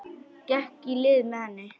Gekk í lið með henni.